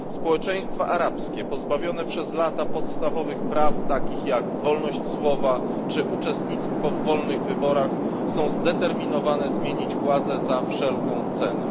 Społeczeństwa arabskie pozbawione przez lata podstawowych praw, takich jak wolność słowa czy uczestnictwo w wolnych wyborach, są zdeterminowane zmienić władzę za wszelką cenę.